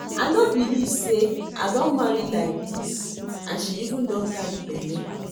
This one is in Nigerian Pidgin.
I no believe say I don marry like dis and she even don carry bele